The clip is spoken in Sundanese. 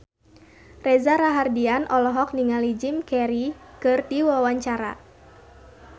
Reza Rahardian olohok ningali Jim Carey keur diwawancara